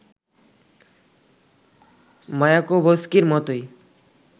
মায়াকোভস্কির মতই